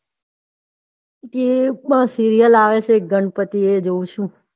TV માં seriel આવે છે ગણપતિ એ જોવ છુ